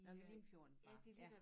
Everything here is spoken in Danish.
Nå ved Limfjorden bare ja